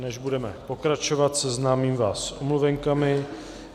Než budeme pokračovat, seznámím vás s omluvenkami.